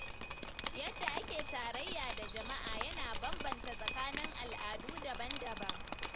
Yadda ake tarayya da jama’a yana bambanta tsakanin al’adu daban-daban.